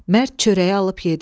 Mərd çörəyi alıb yedi.